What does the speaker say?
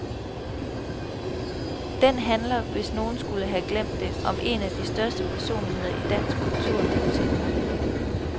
Den handler, hvis nogen skulle have glemt det, om en af de største personligheder i dansk kultur nogensinde.